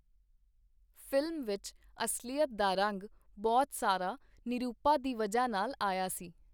Film ਵਿਚ ਅਸਲੀਅਤ ਦਾ ਰੰਗ ਬਹੁਤ ਸਾਰਾ ਨਿਰੂਪਾ ਦੀ ਵਜ੍ਹਾ ਨਾਲ ਆਇਆ ਸੀ.